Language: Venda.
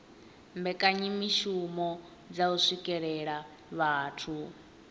mbekanyamishumo dza u swikelela vhathu